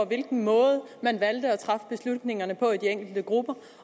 hvilken måde man valgte at træffe beslutningerne på i de enkelte grupper